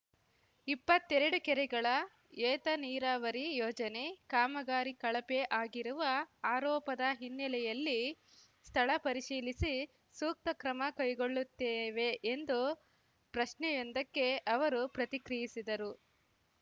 ಇಪ್ಪತ್ತೆರಡು ಕೆರೆಗಳ ಏತ ನೀರಾವರಿ ಯೋಜನೆ ಕಾಮಗಾರಿ ಕಳಪೆ ಆಗಿರುವ ಆರೋಪದ ಹಿನ್ನೆಲೆಯಲ್ಲಿ ಸ್ಥಳ ಪರಿಶೀಲಿಸಿ ಸೂಕ್ತ ಕ್ರಮ ಕೈಗೊಳ್ಳುತ್ತೇವೆ ಎಂದು ಪ್ರಶ್ನೆಯೊಂದಕ್ಕೆ ಅವರು ಪ್ರತಿಕ್ರಿಯಿಸಿದರು